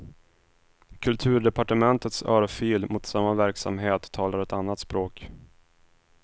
Kulturdepartementets örfil mot samma verksamhet talar ett annat språk.